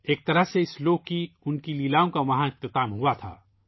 ایک طرح سے، اس دنیا کی اُن کی لیلاؤں کا وہاں اختتام ہوا تھا